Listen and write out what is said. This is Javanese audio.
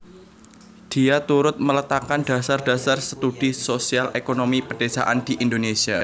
Dia turut meletakkan dasar dasar studi sosial ékonomi pedésaan di Indonesia